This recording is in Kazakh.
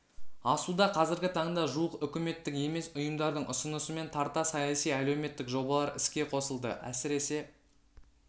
асуда қазіргі таңда жуық үкіметтік емес ұйымдардың ұсынысымен тарта саяси әлеуметтік жобалар іске қосылды әсіресе